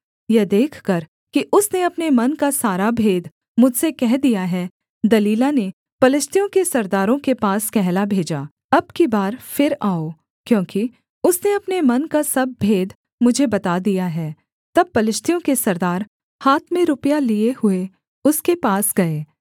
यह देखकर कि उसने अपने मन का सारा भेद मुझसे कह दिया है दलीला ने पलिश्तियों के सरदारों के पास कहला भेजा अब की बार फिर आओ क्योंकि उसने अपने मन का सब भेद मुझे बता दिया है तब पलिश्तियों के सरदार हाथ में रुपया लिए हुए उसके पास गए